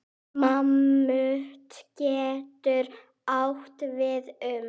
Mammút getur átt við um